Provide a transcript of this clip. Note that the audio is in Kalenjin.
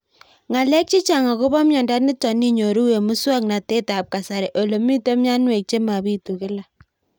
Ng'alek chechang' akopo miondo nitok inyoru eng' muswog'natet ab kasari ole mito mianwek che mapitu kila